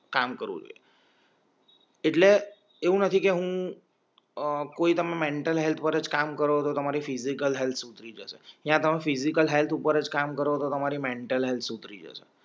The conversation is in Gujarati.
કામ કરવું જોઈએ એટલે એવું નથી કે હું અ કોઈ તમને મેન્ટલ હેલ્થ પર અજ કામ કરો તો તમારી ફિઝિકલ હેલ્થ સુધરી જસે યાતો ફિઝિકલ હેલ્થ ઉપર અજ કામ કરો તો તમારી મેન્ટલ સુધરી જાઈ